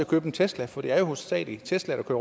købe en tesla for det er jo hovedsagelig teslaer der